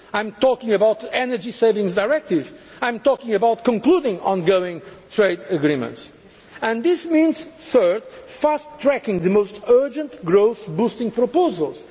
I am talking about the Energy Savings Directive. I am talking about concluding ongoing trade agreements. This means thirdly fast tracking the most urgent growth boosting